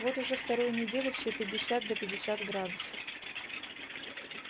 вот уже вторую неделю все пятьдесят да пятьдесят градусов